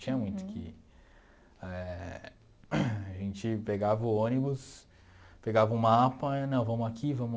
Tinha muito que eh... A gente pegava o ônibus, pegava o mapa e, não, vamos aqui, vamos